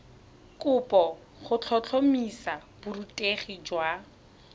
kopo go tlhotlhomisa borutegi jwa